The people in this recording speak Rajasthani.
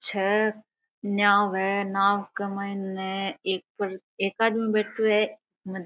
छे नाँव है नाँव क माइन एक आदमी बैठो है।